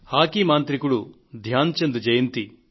hockey మాంత్రికుడు ధ్యాన్ చంద్ జయంతి